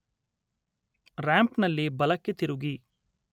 ರಾಂಪ್‌ನಲ್ಲಿ ಬಲ ಕ್ಕೆ ತಿರುಗಿ